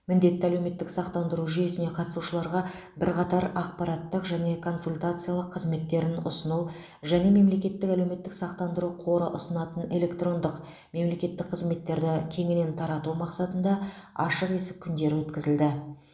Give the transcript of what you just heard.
міндетті әлеуметтік сақтандыру жүйесіне қатысушыларға бірқатар ақпараттық және консультациялық қызметтерін ұсыну және мемлекеттік әлеуметтік сақтандыру қоры ұсынатын электрондық мемлекеттік қызметтерді кеңінен тарату мақсатында ашық есік күндері өткізілді